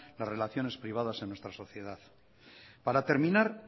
las relaciones privadas en nuestra sociedad para terminar